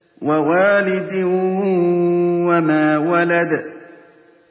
وَوَالِدٍ وَمَا وَلَدَ